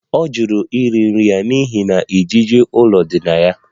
Ọ jụrụ iri nri ya n'ihi na ijiji ụlọ dị na ya